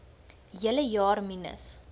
hele jaar minus